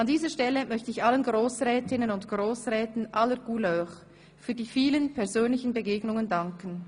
An dieser Stelle möchte ich allen Grossrätinnen und Grossräten aller ‹Couleur› für die vielen persönlichen Begegnungen danken.